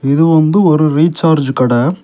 இது வந்து ஒரு ரீசார்ஜ் கடை.